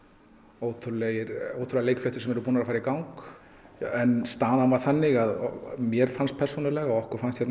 ótrúlegar leikfléttur sem eru búnar að fara í gang en staðan var þannig og mér fannst persónulega og okkur fannst hérna hjá